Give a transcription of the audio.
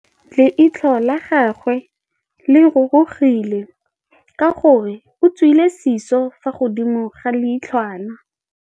Leitlhô la gagwe le rurugile ka gore o tswile sisô fa godimo ga leitlhwana.